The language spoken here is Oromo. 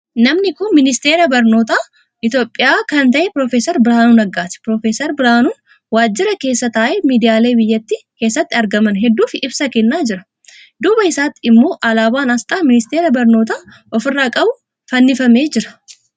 Namni kun Ministeera Barnootaa Itiyoophiyaa kan ta'e Prof. Biraanuu Naggaati. Prof. Biraanuun waajjira keessa taa'ee miidiyaalee biyyattii keessatti argaman hedduuf ibsa kennaa jira. Duuba isaatiin immoo alaabaan aasxaa Ministeera Barnootaa ofirraa qabu fannifamee jira.